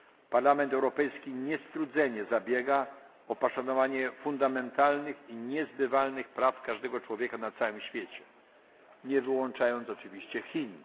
Parlament Europejski niestrudzenie zabiega o poszanowanie podstawowych i niezbywalnych praw każdego człowieka na całym świecie, nie wyłączając oczywiście Chin.